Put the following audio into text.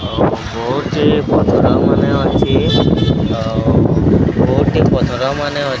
ଆଉ ବହୁତ ହି ପଥର ମାନେ ଅଛି। ଆଉ ବହୁତ ହି ପଥର ମାନେ ଅଛି।